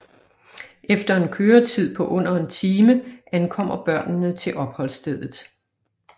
Efter en køretid på under en time ankommer børnene til opholdsstedet